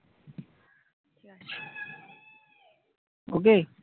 Okay?